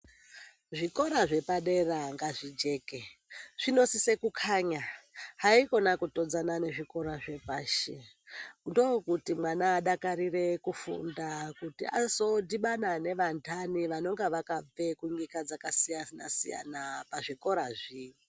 Zvikora zvepadera ngazvijeke zvinosise kukanya haikona kutonzana nezvikora zvepashi. Ndokuti mwana adakarire kufunda kuti azodhibana nevantani vanenge vakabve kunyika dzakasiyana-siyana pazvikorazi.